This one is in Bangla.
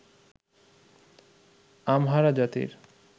আমহারা জাতির